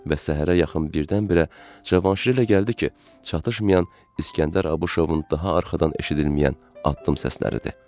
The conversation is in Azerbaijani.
Və səhərə yaxın birdən-birə cavanşirilə gəldi ki, çatışmayan İsgəndər Abışovun daha arxadan eşidilməyən addım səsləridir.